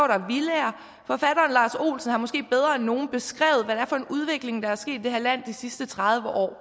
der villaer forfatteren lars olsen har måske bedre end nogen beskrevet hvad det er for en udvikling der er sket i det her land de sidste tredive år